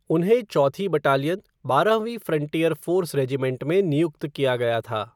उन्हें चौथी बटालियन, बारहवीं फ़्रंटियर फ़ोर्स रेजिमेंट में नियुक्त किया गया था।